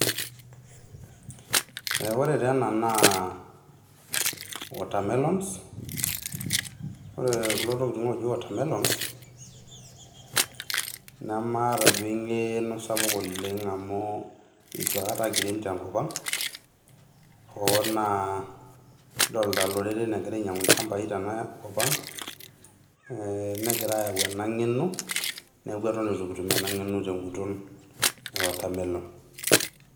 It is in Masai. Ore taa ena naa watermelon ore kulo tokitin ooji watermelon namaata duo engeno saapuk ooleng amu itu akata kiirem te kop ang hoo naa kidolita loreren egira ainyangu ilchambai tena kop ang negira aayau ena ngeno neaku eton itu kitum ena ngeno te guton e watermelon.